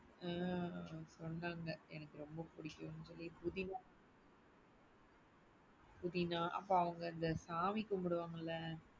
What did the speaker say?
உம் சொன்னாங்க எனக்கு ரொம்ப புடிக்கும்னு புதினா புதினா அப்ப அவங்க சாமி கும்பிடுவாங்கள,